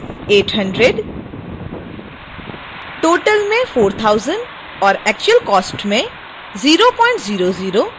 total में 4000 और actual cost में 000